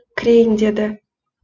кірейін деді